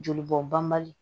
Joli bɔn bali